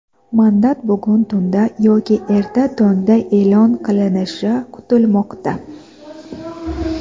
Mandat bugun tunda yoki erta tongda e’lon qilinishi kutilmoqda.